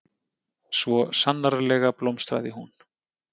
Svo sannarlega blómstraði hún.